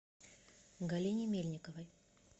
галине мельниковой